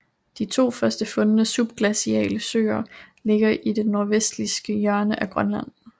De to først fundne subglaciale søer ligger i det nordvestligste hjørne af Grønland